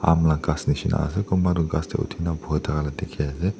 aman la ghas nishina ase kunba toh ghas tae uthina botha ka dikhiase.